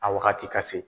A wagati ka se